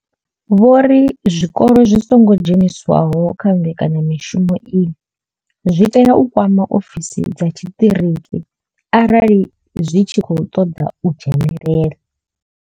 Vho ri zwikolo zwi songo dzheniswaho kha mbekanya mushumo iyi zwi tea u kwama ofisi dza tshiṱiriki arali zwi tshi khou ṱoḓa u dzhenela.